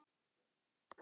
Ég hélt að yðar hátign.